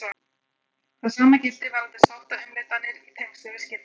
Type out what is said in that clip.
Það sama gilti varðandi sáttaumleitanir í tengslum við skilnað.